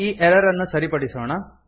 ಈ ಎರರ್ ಅನ್ನು ಸರಿಪಡಿಸೋಣ